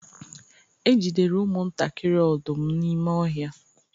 e jidere ụmụ-ntakịrị odum n’ime ọhịa